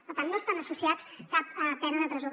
per tant no estan associats a cap pena de presó